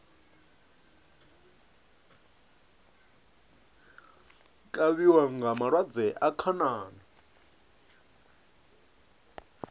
kavhiwa nga malwadze a khanani